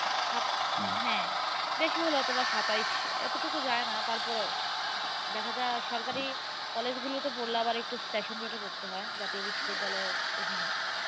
ছাত হ্যাঁ বেশি হলে অথবা সাতাইশ এতটুকু যায় না তারপরেও উম দেখা যায় সরকারি college গুলোতে পড়লে আবার session পড়তে হয় জাতীয় বিশ্ববিদ্যালয়ের অধীনে